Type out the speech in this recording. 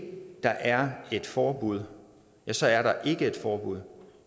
der er et forbud ja så er der ikke et forbud